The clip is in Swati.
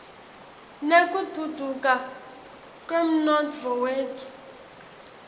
nekutfutfuka kwemnotfo wetfu